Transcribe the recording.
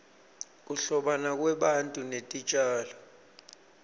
kuhlobana kwebantu netitjalo